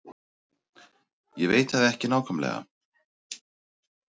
Ég veit það ekki nákvæmlega.